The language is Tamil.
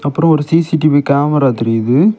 அப்ரோ ஒரு சி_சி_டிவி கேமரா தெரியுது.